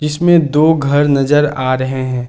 इसमें दो घर नज़र आ रहे हैं।